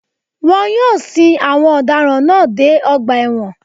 Wọ́n yóò sin àwọn ọ̀daràn náà dé ọgbà ẹ̀wọ̀n